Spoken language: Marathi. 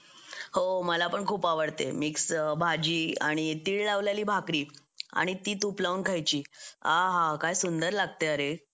हो मला पण खूप आवडते मिक्स भाजी आणि तीळ लावलेली भाकरी आणि ती तूप लावून खायची आ हा हा काय सुंदर लागते अरे